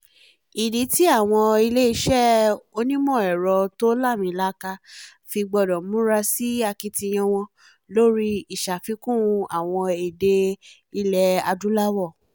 ìdí tí àwọn ilé-iṣẹ́ onímọ̀ ẹ̀rọ tó lámilaaka fi gbọdọ̀ múra sí akitiyan wọn lórí ìṣàfikún àwọn èdè ilẹ̀ adúláwò